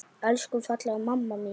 Elsku fallega mamma mín.